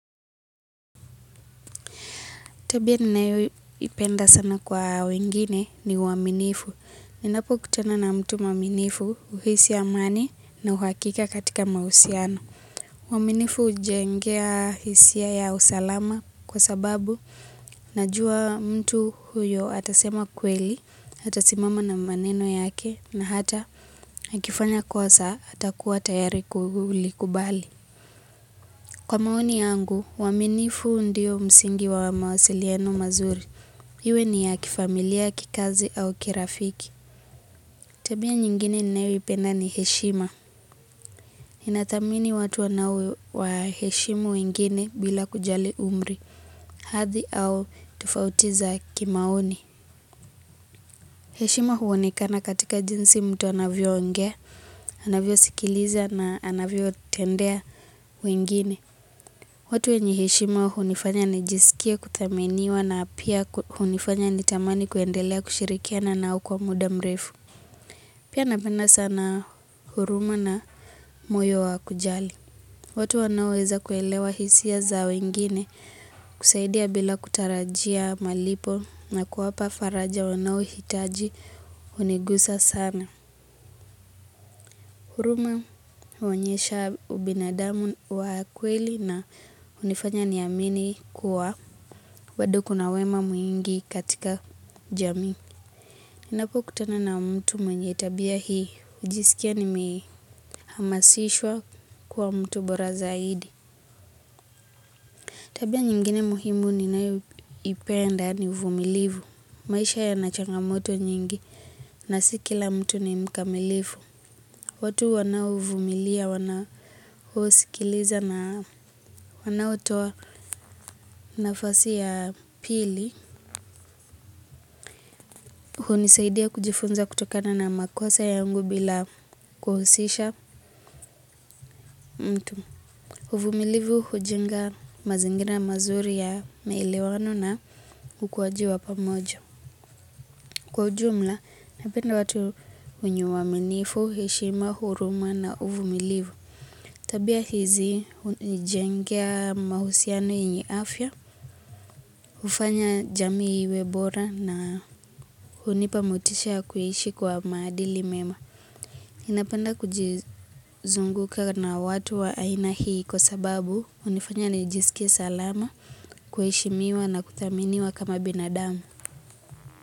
Tabia ninayo ipenda sana kwa wengine ni uaminifu. Ninapo kutana na mtu muaminifu huhisi amani na uhakika katika mahusiano. Uaminifu hujengea hisia ya usalama kwa sababu najua mtu huyo atasema kweli, atasimama na maneno yake na hata akifanya kosa atakuwa tayari kulikubali. Kwa maoni yangu, uaminifu ndio msingi wa mawasiliano mazuri. Iwe ni ya kifamilia, kikazi au kirafiki. Tabia nyingine ninayo ipenda ni heshima. Ninadhamini watu wanao waheshima wengine bila kujali umri. Hadhi au tofauti za kimaoni. Heshima huonekana katika jinsi mtu anavyoongea, anavyosikiliza na anavyotendea wengine. Watu wenye heshima hunifanya nijisikie kuthaminiwa na pia hunifanya nitamani kuendelea kushirikiana nao kwa muda mrefu. Pia napenda sana huruma na moyo wa kujali. Watu waonaweza kuelewa hisia za wengine husaidia bila kutarajia malipo na kuwapa faraja wanaohitaji hunigusa sana. Huruma huonyesha ubinadamu wa kweli na hunifanya niamini kuwa bado kuna wema mwingi katika jamii. Ninapokutana na mtu mwenye tabia hii, najisikia nimehamasishwa kuwa mtu bora zaidi. Tabia nyingine muhimu ninayoipenda ni uvumilivu. Maisha yana changamoto nyingi, na si kila mtu ni mkamilifu. Watu wanaovumilia, wanaosikiliza na wanaotoa nafasi ya pili. Hunisaidia kujifunza kutokana na makosa yangu bila kuhusisha mtu. Uvumilivu hujenga mazingira mazuri ya maelewano na ukuwaji wa pamoja. Kwa ujumla, napenda watu wenye uaminifu, heshima, huruma na uvumilivu. Tabia hizi, hunijengea mahusiano yenye afya, hufanya jamii iwe bora na hunipa motisha ya kuishi kwa madili mema. Napenda kujizunguka na watu wa aina hii kwa sababu hunifanya nijisikie salama, kuheshimiwa na kuthaminiwa kama binadamu.